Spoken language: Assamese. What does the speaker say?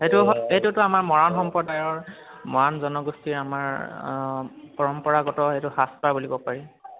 সেইটো, সেইটো আমাৰ মৰাণ সম্প্ৰদায়ৰ মৰাণ জনগোষ্ঠীৰ আমাৰ অ পৰম্পৰাগত সেইটো সাজ এটা বুলিব পাৰি